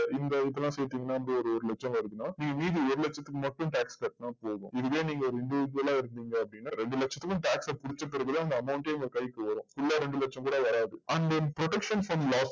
இந்த இதுலா சேத்திங்கன்னா வந்து ஒரு ஒரு லட்சம் வருதுன்னா நீங்க மீதி ஒரு லட்சத்துக்கு மட்டும் tax கட்டுனா போதும் இதுவே நீங்க individual இருந்திங்க அப்டின்னா ரெண்டு லட்சத்துக்கும் tax ஆ புடிச்ச பிறகுதா அந்த amount யே உங்க கைக்கு வரும் இல்ல ரெண்டு லட்சம் கூட வராது அந்த production fund ல